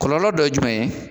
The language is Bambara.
Kɔlɔlɔ dɔ ye jumɛn ye